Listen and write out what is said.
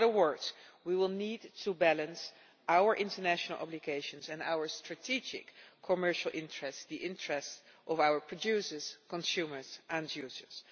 In other words, we will need to balance our international obligations and our strategic commercial interests, the interests of our producers, consumers and users.